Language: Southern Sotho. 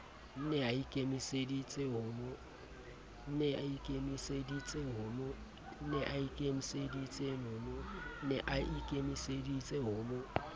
ne a ikemeseditse ho mo